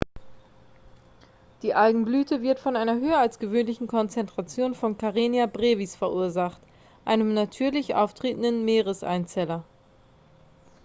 die algenblüte wird von einer höher als gewöhnlichen konzentration von karenia brevis verursacht einem natürlich auftretenden meereseinzeller